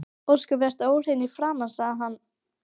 Ósköp ertu óhrein í framan, sagði hann.